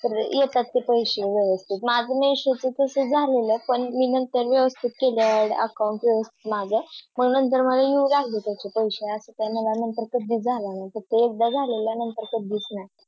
तर येतात ते पैसे व्यवस्थित माझं Issue तस झालेलं पण मी नंतर व्यवस्थित केले Add account माझं मग नंतर माझे येऊन राहिले पैसे असं काही मला नंतर कधी झालं नाही नांतर कधी नाही